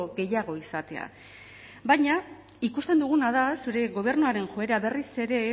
gehiago izatea baina ikusten duguna da zure gobernuaren joera berriz ere